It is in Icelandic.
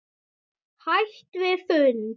Hætt við fund?